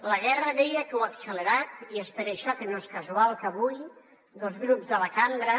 la guerra deia que ho ha accelerat i és per això que no és casual que avui dos grups de la cambra